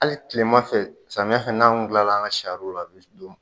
Ale tilema fɛ, samiyɛ fana n'an tun tila la an ka sariw la